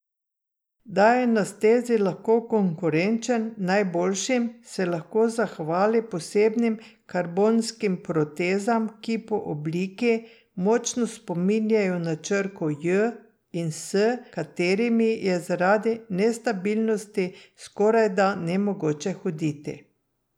Da je na stezi lahko konkurenčen najboljšim, se lahko zahvali posebnim karbonskim protezam, ki po obliki močno spominjajo na črko J in s katerimi je zaradi nestabilnosti skorajda nemogoče hoditi.